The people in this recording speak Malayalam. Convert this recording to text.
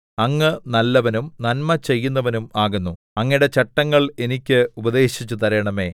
അങ്ങ് നല്ലവനും നന്മ ചെയ്യുന്നവനും ആകുന്നു അങ്ങയുടെ ചട്ടങ്ങൾ എനിക്ക് ഉപദേശിച്ചു തരണമേ